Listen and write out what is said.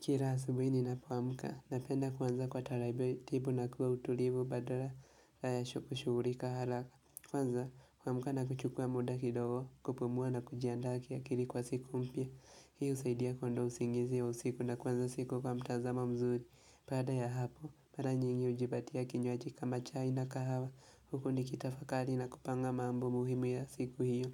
Kila asubuhi ninapoamka, napenda kuanza kwa taratibu na kwa utulivu badala ya kushughulika haraka. Kwanza huamka na kuchukua muda kidogo kupumua na kujiandaa kiakili kwa siku mpya. Hii husaidia kuondoa usingizi ya usiku na kuanza siku kwa mtazamo mzuri. Baada ya hapo, mara nyingi hujipatia kinywaji kama chai na kahawa. Huku nikitafakari na kupanga mambo muhimu ya siku hiyo.